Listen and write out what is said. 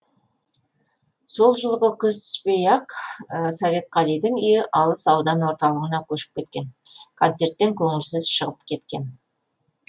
сол жылғы күз түпей ақ советқалидың үйі алыс аудан орталығына көшіп кеткен концерттен көңілсіз шығып кеткем